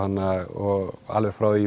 og alveg frá því